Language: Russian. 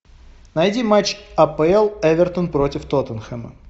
найди матч апл эвертон против тоттенхэма